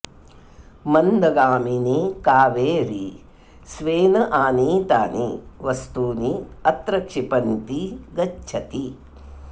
मन्दगामिनी कावेरी स्वेन आनीतानि वस्तूनि अत्र क्षिपन्ती गच्छति